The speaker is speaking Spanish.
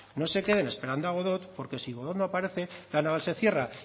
no se queden esperando a godot porque si godot no aparece la naval se cierra